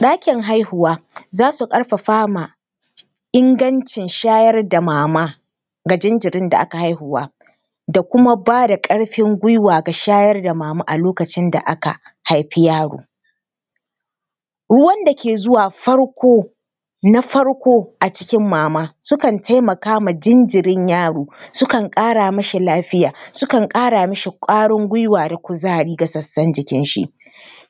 Ɗakin haihuwa za su ƙarfafa ma ingancin shayarda mama ga jinjirin da aka haihuwa da kuma ba da ƙarfin gwiwa ga shayar da mama a lokacin da aka haifi yaro. Ruwan da ke zuwa farko, na farko a cikin mama kan taimaka ma jinjirin yaro, sukan ƙara mashi lafiya, sukan ƙara mashi ƙwarin gwiwa da kuma kuzari ga sassan jikinshi.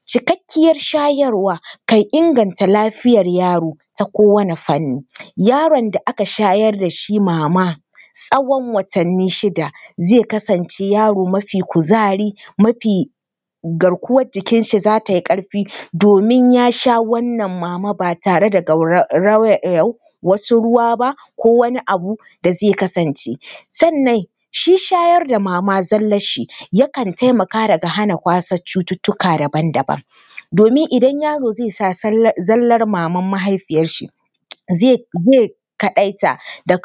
Cikakkiyar shayarwa kan inganta lafiyar yaro ta kowane fanni. Yaron da aka shayar da shi mama, tsawon watanni shida zai kasance yaro mafi kuzari, mafi, garkuwar jikinshi za ta yi ƙarfi domin ya sha wannan mama ba tare da gaurayar wasu ruwa ba ko wani abu da zai kasance. Sannan shi shayar da mama zallarshi kan taimaka daga hana kwasar cututtuka daban daban. Domin idan yaro zai sha zallar maman mahaifiyarshi, zai kaɗaita da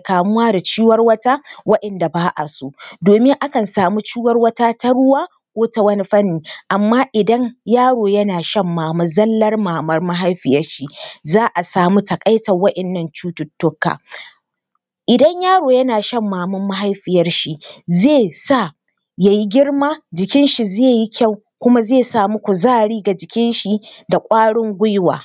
kamuwa da ciwarwata waɗanda ba a so. Domin akan samu ciwarwata taruwa ko ta wanni fanni amma idan yaro yana shan mama zallar maman mahaifiyarshi,, za a samu taƙaitar waɗannan cututtuka. Idan yaro yana shan maman mahaifiyarshi, zai sa ya yi girma, jikinshi zai yi kyau kuma zai samu kuzari ga jikinshi da ƙwarin gwiwa.